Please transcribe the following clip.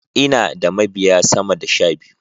Ina da mabiya sama da sh abiyu.